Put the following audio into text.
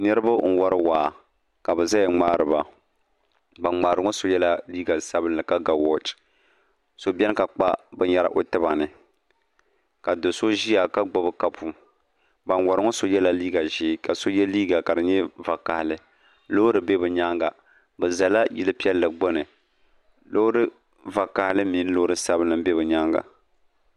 niriba n-wari waa ka bɛ zaya n-ŋmaari ba ban ŋmari ŋɔ so yɛla liiga sabinli ka ga wɔchi so bɛni ka kpa binyɛra o tiba ni ka do ʒiya ka gbubi kapu ban wari ŋɔ so yɛla liiga ʒee ka so ye liiga ka di nyɛ vakahili loori be bɛ nyaanga bɛ zala yil' piɛlli gbuni loori vakahili mini loori sabinli n-be bɛ nyaanga